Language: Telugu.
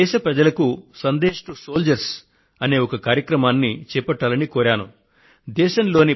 నా దేశ ప్రజలకు సందేశ్ టు సోల్జర్స్ అనే ఒక కార్యక్రమాన్ని చేపట్టాలని విజ్ఞప్తి చేశాను